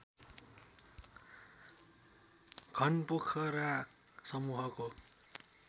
घनपोखरा समूहको